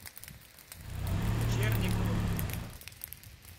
черниковым